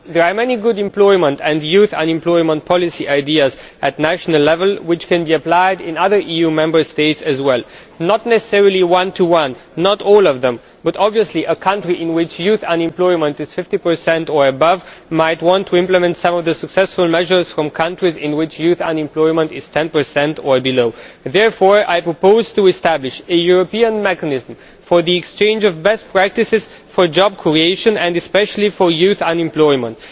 There are many good employment and youth unemployment policy ideas at national level which can be applied in other EU Member States as well, not necessarily one to one not all of them but obviously a country in which youth unemployment is 50 or above might want to implement some of the successful measures from countries in which youth unemployment is 10 or below. Therefore, I propose to establish a European mechanism for the exchange of best practices for job creation and especially for youth unemployment.